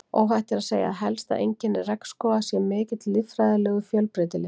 Óhætt er að segja að helsta einkenni regnskóga sé mikill líffræðilegur fjölbreytileiki.